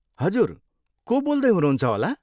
हजुर, को बोल्दै हुनुहुन्छ होला?